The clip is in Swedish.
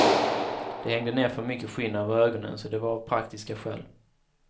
Det hängde ner för mycket skinn över ögonen så det var av praktiska skäl.